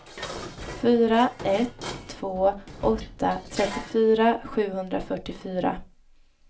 fyra ett två åtta trettiofyra sjuhundrafyrtiofyra